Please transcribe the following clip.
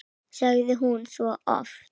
sagði hún svo oft.